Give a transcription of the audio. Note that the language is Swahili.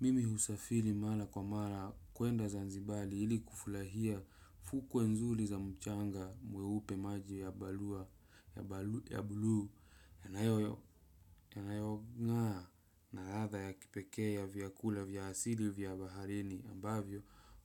Mimi husafili mara kwa mara kwenda zanzibali ili kufulahia fukwe nzuli za mchanga mweupe maji ya balu ya bulu yanayong'aa na ratha ya kipeke ya vyakula vyasili vya baharini ambavyo